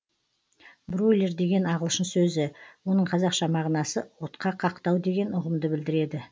бройлер деген ағылшын сөзі оның қазақша мағынасы отқа қақтау деген ұғымды білдіреді